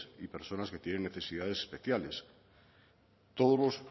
y personas que tienen necesidades especiales todos los